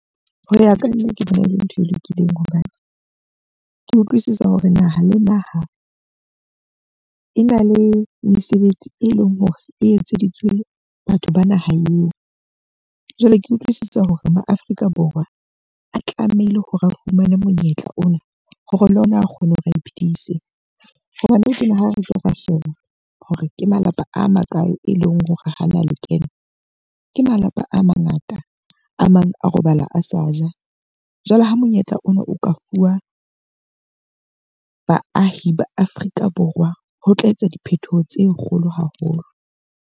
Hoya ka nna ke bona e le ntho e lokileng. Hobane ke utlwisisa hore naha le naha e na le mesebetsi e leng hore e etseditswe batho ba naha eo. Jwale ke utlwisisa hore mo Afrika Borwa, ba tlamehile hore ba fumane monyetla ona hore le ona a kgone hore a iphidise. Hobane nou tjena ha re ka ra sheba hore ke malapa a makae e leng hore hana lekeno, ke malapa a mangata. A mang a robala a sa ja. Jwale ha monyetla ona o ka fuwa baahi ba Afrika Borwa ho tla etsa diphethoho tse kgolo haholo.